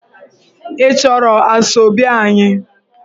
Ị chọrọ Asoebi anyị?